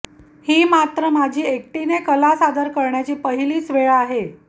ही मात्र माझी एकटीने कला सादर करण्याची पहिलीच वेळ आहे